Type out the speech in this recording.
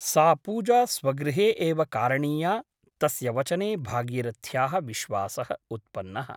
सा पूजा स्वगृहे एव कारणीया तस्य वचने भागीरथ्याः विश्वासः उत्पन्नः ।